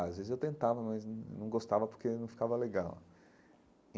Às vezes eu tentava, mas não não gostava porque não ficava legal.